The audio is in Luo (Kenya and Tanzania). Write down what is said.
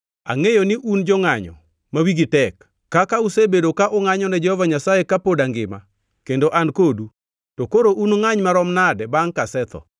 Angʼeyo ni un jongʼanyo ma wigi tek. Kaka usebedo ka ungʼanyo ne Jehova Nyasaye kapod angima kendo an kodu, to koro unungʼany marom nade bangʼ kasetho.